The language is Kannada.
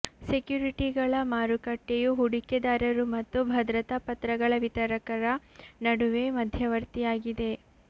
ಸೆಕ್ಯೂರಿಟಿಗಳ ಮಾರುಕಟ್ಟೆಯು ಹೂಡಿಕೆದಾರರು ಮತ್ತು ಭದ್ರತಾ ಪತ್ರಗಳ ವಿತರಕರ ನಡುವೆ ಮಧ್ಯವರ್ತಿಯಾಗಿದೆ